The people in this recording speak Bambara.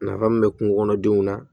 Nafa mun be kungo kɔnɔ denw na